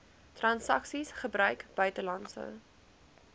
transaksies gebruik buitelandse